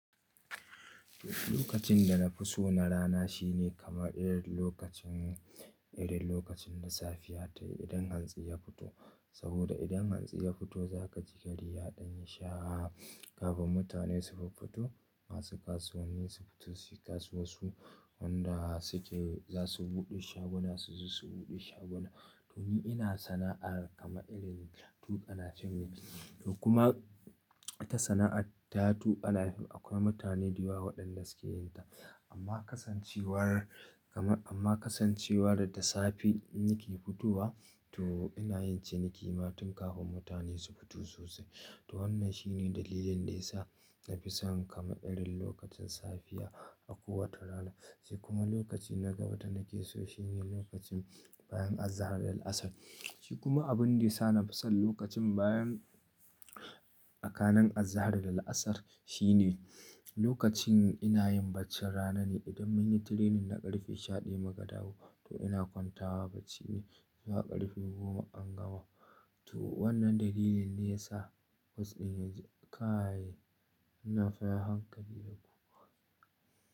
Lokacin da na fi so na rana shine kama irin lokacin, irin lokacin da safiya ta yi idan hantsi ya fito. Saboda idan hantsi ya fito za ka ji gari ya ɗan yi sha kafin mutane sufir fito, masu kasuwanni su fito suyi kasuwansu, wanda suke za su buɗe shaguna suzu su buɗe shaguna. To ni ina sana'ar kamar irin tuƙa nafim. To kuma ita sana'ar ta tuƙa napep akwai mutane da yawa waɗanda suke yin ta. Amma kasancewar, amma kasancewar da safe in nike fitowa, to ina yin ciniki ma tun kafin mutane su fito sosai. To wannan shine dalilin da ya sa na fi son kamar irin lokacin safiya a kowace rana. Shi kuma lokacin na gaba da na ke so shine lokacin bayan azahar da la'asar. Shi kuma abun da ya sa na fi son lokacin bayan tsakanin azahar da al'asar shine lokacin ina yin baccin rana ne. Idan mun yi training na ƙarfe shaɗaya mu ka dawo, to ina kwanta wa bacci ne zuwa ƙarfe goma an gama To wannan dalilin ne ya sa was ɗin ya kayaye, ina fara hankali da kowa.